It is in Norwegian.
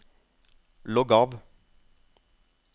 logg av